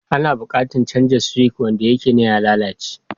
Ana buƙatar canza suwic. Wanda yake nan ya lalace